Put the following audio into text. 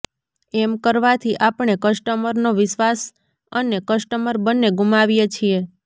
એમ કરવાથી આપણે કસ્ટમરનો વિશ્વાસ અને કસ્ટમર બંને ગુમાવીએ છીએ